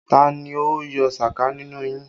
Ta ni ó yọ sàká nínú yín!